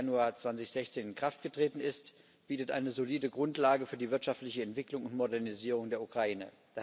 1. Januar 2016 in Kraft getreten ist, bietet eine solide Grundlage für die wirtschaftliche Entwicklung und Modernisierung der Ukraine.